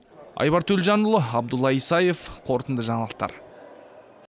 айбар төлжанұлы абдулла исаев қорытынды жаңалықтар